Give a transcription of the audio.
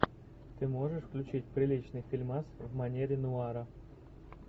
ты можешь включить приличный фильмас в манере нуара